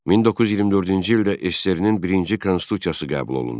1924-cü ildə SSRİ-nin birinci konstitusiyası qəbul olundu.